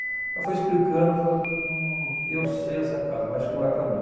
Ela foi explicando, eu falei, hum, eu sei essa casa, mas acho que não é para mim.